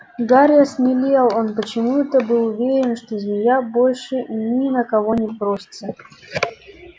гарри осмелел он почему-то был уверен что змея больше ни на кого не бросится